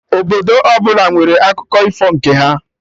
Obodo ọbụla nwere akụko ifo nke ha